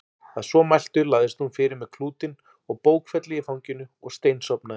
Að svo mæltu lagðist hún fyrir með klútinn og bókfellið í fanginu og steinsofnaði.